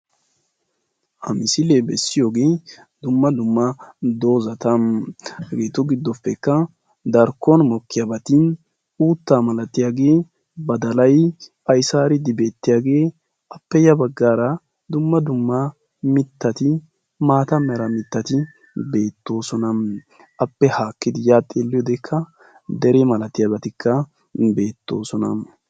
ha misilee bessiyoge dumma dumma dozzata. hageetu giddoppekka darkko matan uuttaa malatiyage badalay aysaariiddi beettiyage appe ya baggaara dumma dumma mittati maata mera mittati beettoosona. appe haakkidi ya baggankka dere malatiyabati beettoosona.